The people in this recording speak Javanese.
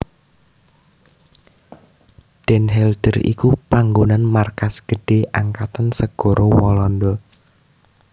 Den Helder iku panggonan markas gedhé Angkatan Segara Walanda